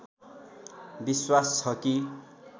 विश्वास छ कि